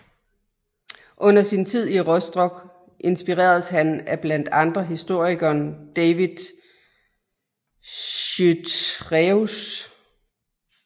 Under sin tid i Rostock inspireredes han af blandt andre historikeren David Chytraeus